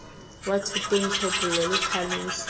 wa thoteng tlhophollo le tlhaloso